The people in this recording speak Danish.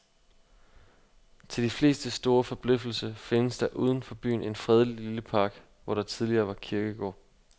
Til de flestes store forbløffelse findes der uden for byen en fredelig lille park, hvor der tidligere var kirkegård.